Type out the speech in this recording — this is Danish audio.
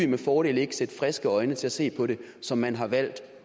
med fordel sætte friske øjne til at se på det som man har valgt